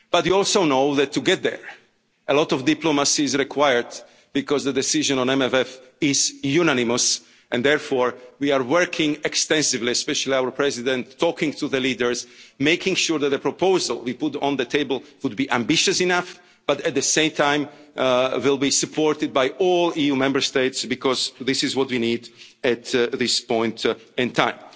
But we also know that to get there, a lot of diplomacy is required, because the decision on MFF is unanimous, and therefore we are working extensively, especially our President, talking to the leaders, making sure that the proposal we put on the table would be ambitious enough but at the same time will be supported by all EU Member States, because this is what we need at this point